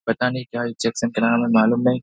पता नहीं क्‍या हमें मालूम नहीं --